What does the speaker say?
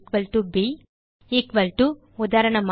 agtb equal to உதாரணமாக